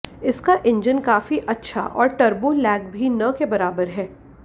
इसका इंजन काफी अच्छा है और टर्बो लैग भी न के बराबर है